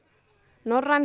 norræn